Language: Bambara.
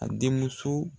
A den muso